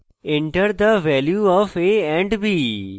enter the value of a and b